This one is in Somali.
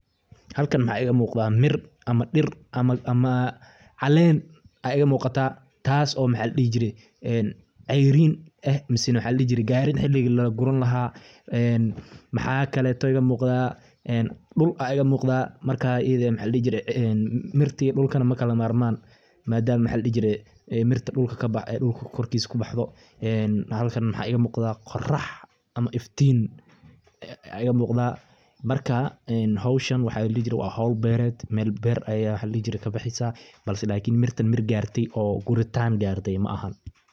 Halkan maxa iga muqda mir ama dhir ama caleen aa iga muuqata taaso maxa ladhihi jire en ceyrin eh mise maxa ladhihi jire gaarin xiligi laguran lahaa maxa kaleto oo iga muuqada, dhul aa iga muuqada Marka ayide maxa ladhihi jire Martin iyo dhulkana makala marmaan maadama ay mirta dhulka korkis kubaxdo en halkan maxa iga muqdaa qorax ama iftiin aa iga muqdaa marka howshan waxa ladhihi jire wa howl beered Mel beered ay kabaxeysa balse mirtan mir gaartey oo guritan gaarte ma aha